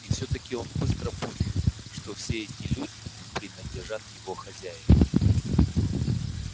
и все таки он быстро понял что все эти люди принадлежат его хозяину